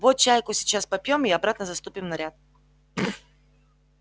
вот чайку сейчас попьём и обратно заступим в наряд